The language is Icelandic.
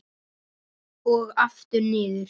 Og aftur niður.